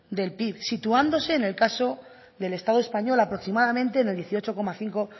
del pib situándose en el caso del estado español aproximadamente en el dieciocho coma cinco